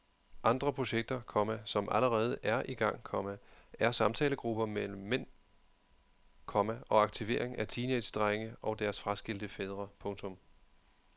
Andre projekter, komma som allerede er i gang, komma er samtalegrupper mellem mænd, komma og aktivering af teenagedrenge og deres fraskilte fædre. punktum